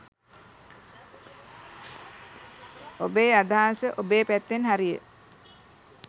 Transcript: ඔබේ අදහස ඔබේ පැත්තෙන් හරිය